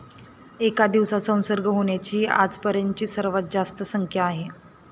एका दिवसात संसर्ग होण्याची ही आजपर्यंतची सर्वात जास्त संख्या आहे.